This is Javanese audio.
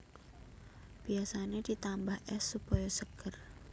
Biasané ditambah ès supaya seger